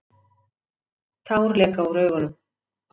Tár leka úr augunum.